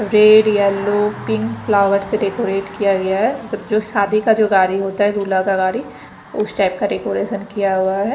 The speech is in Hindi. रेड येलो पिंक फ्लावर्स से डेकोरेट किया गया है जब जो शादी का जो गाड़ी होता है दूल्हा का गाड़ी उस टाइप का डेकोरेशन किया हुआ है।